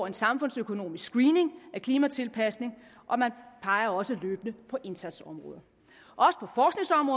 en samfundsøkonomisk screening af klimatilpasning og man peger også løbende på indsatsområder